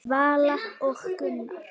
Vala og Gunnar.